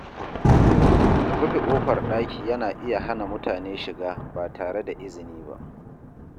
Rufe ƙofar ɗaki yana iya hana mutane shiga ba tare da izini ba.